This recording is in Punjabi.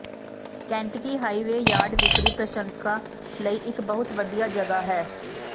ਕੈਂਟਕੀ ਹਾਈਵੇ ਯਾਰਡ ਵਿਕਰੀ ਪ੍ਰਸ਼ੰਸਕਾਂ ਲਈ ਇੱਕ ਬਹੁਤ ਵਧੀਆ ਜਗ੍ਹਾ ਹੈ